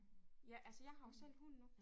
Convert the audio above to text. Ja altså jeg har jo selv hund nu